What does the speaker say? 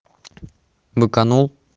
быканул